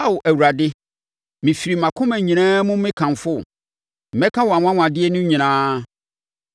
Ao Awurade, mefiri mʼakoma nyinaa mu mekamfo wo. Mɛka wʼanwanwadeɛ no nyinaa.